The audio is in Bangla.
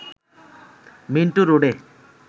মিন্টো রোডে